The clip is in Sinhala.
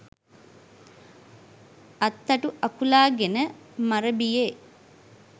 අත්තටු අකුලාගෙන මරබියේ